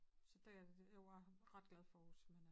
Så det jo jeg ret glad for Aarhus